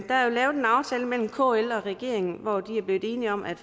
lavet en aftale mellem kl og regeringen hvor de er blevet enige om at